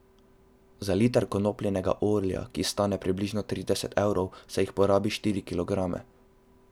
Za liter konopljinega olja, ki stane približno trideset evrov, se jih porabi štiri kilograme.